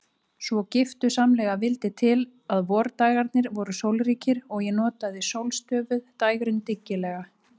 Svo giftusamlega vildi til að vordagarnir voru sólríkir og ég notaði sólstöfuð dægrin dyggilega.